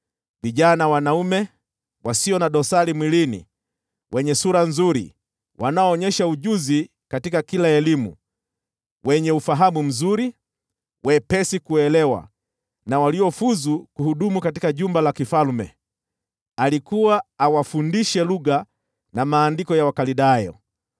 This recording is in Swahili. vijana wanaume wasio na dosari mwilini, wenye sura nzuri, wanaoonyesha kipaji katika kila aina ya elimu, wenye ufahamu mzuri, wepesi kuelewa, na waliofuzu kuhudumu katika jumba la kifalme. Alikuwa awafundishe lugha na maandiko ya Wakaldayo.